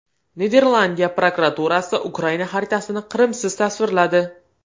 Niderlandiya prokuraturasi Ukraina xaritasini Qrimsiz tasvirladi.